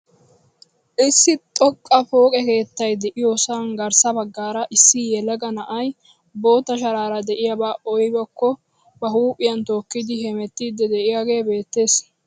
Issi xoqqa pooqe keettay de'iyoosan garssa baggaara issi yelaga na'ay bootta sharaara de'iyaaba aybakko ba huuphphiyaan tookkidi hemettiidi de'iyaagee beettees.